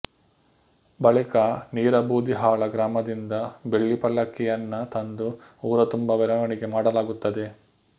ಬಳಿಕ ನೀರಬೂದಿಹಾಳ ಗ್ರಾಮದಿಂದ ಬೆಳ್ಳಿ ಪಲ್ಲಕ್ಕಿಯನ್ನ ತಂದು ಊರ ತುಂಬ ಮೆರವಣಿಗೆ ಮಾಡಲಾಗುತ್ತದೆ